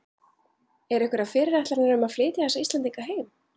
Eru einhverjar fyrirætlanir um að flytja þessa Íslendinga heim?